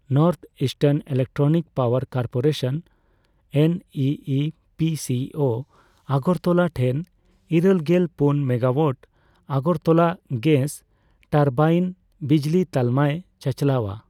North eastern electric power corporation NEEPCO Agartala ᱴᱷᱮᱱ ᱤᱨᱟᱹᱞᱜᱮᱞ ᱯᱩᱱ ᱢᱮᱜᱟᱳᱣᱟᱴ ᱟᱜᱚᱨᱛᱚᱞᱟ ᱜᱮᱥ ᱴᱟᱨᱵᱟᱭᱤᱱ ᱵᱤᱡᱞᱤ ᱛᱟᱞᱢᱟᱭ ᱪᱟᱪᱟᱞᱟᱣ ᱟ ᱾